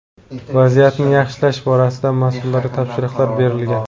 Vaziyatni yaxshilash borasida mas’ullarga topshiriqlar berilgan.